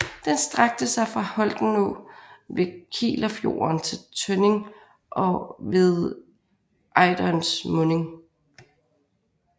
Den strakte sig fra Holtenå ved Kielerfjorden til Tønning ved Ejderens munding